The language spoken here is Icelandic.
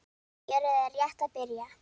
Fjörið er rétt að byrja!